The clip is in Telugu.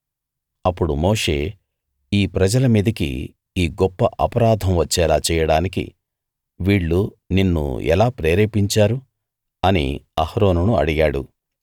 అప్పుడు మోషే ఈ ప్రజల మీదికి ఈ గొప్ప అపరాధం వచ్చేలా చేయడానికి వీళ్ళు నిన్ను ఎలా ప్రేరేపించారు అని అహరోనును అడిగాడు